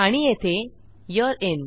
आणि येथे यूरे इन